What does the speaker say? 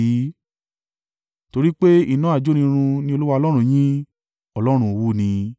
Torí pé iná ajónirun ni Olúwa Ọlọ́run yín, Ọlọ́run owú ni.